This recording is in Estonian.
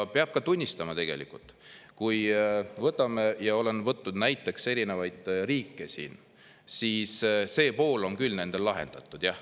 Ja peab tunnistama, et kui olen näiteks erinevaid riike, siis see pool on küll nendel lahendatud.